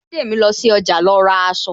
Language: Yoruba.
Bidemi lọ sí ọjà lọ ra aṣọ